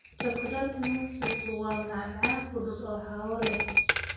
Chocolate mousse waa macmacaan fudud oo hawo leh.